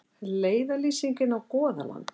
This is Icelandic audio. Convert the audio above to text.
Leiðarlýsing inn á Goðaland.